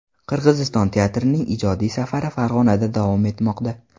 Qirg‘iziston teatrining ijodiy safari Farg‘onada davom etmoqda.